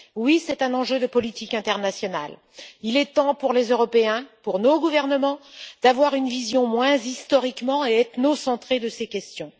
C'est assurément un enjeu de politique internationale et il est temps, pour les Européens et pour nos gouvernements, d'avoir une vision moins historiquement centrée et ethnocentrée de ces questions.